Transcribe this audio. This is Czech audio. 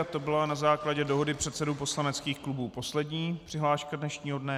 A to byla na základě dohody předsedů poslaneckých klubů poslední přihláška dnešního dne.